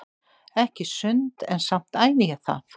Ekki sund en samt æfi ég það.